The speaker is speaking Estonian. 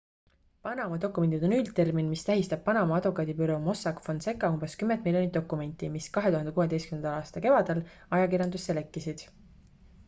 """panama dokumendid" on üldtermin mis tähistab panama advokaadibüroo mossack fonseca umbes kümmet miljonit dokumenti mis 2016. aasta kevadel ajakirjandusse lekkisid.